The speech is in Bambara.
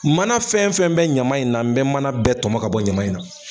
Mana fɛn fɛn bɛ ɲama in na n bɛ mana bɛɛ tɔmɔ ka bɔ ɲama in na